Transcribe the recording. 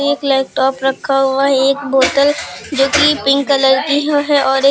एक लैपटॉप रखा हुआ है। एक बोतल जो कि पिंक कलर की है और एक--